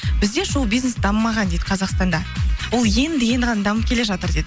бізде шоу бизнес дамымаған дейді қазақстанда ол енді енді ғана дамып келе жатыр дейді